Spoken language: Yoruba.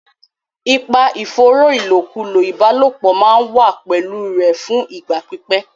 Ipa ìfòòró ìlòkulò ìbálòpọ̀ máa wà pẹ̀lú rẹ̀ fún ìgbà pípẹ́.